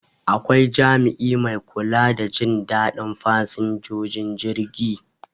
Akwai jami'i mai kula da Jin dadin fasinjojin jirgi